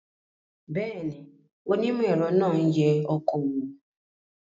Bẹ́ẹ̀ ni, onímọ̀-ẹ̀rọ náà ń yẹ ọkọ̀ wò